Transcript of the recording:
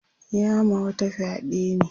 ya ma wata fyaɗe ne